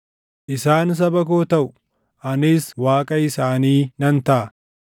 Isaan saba koo taʼu; anis Waaqa isaanii nan taʼa.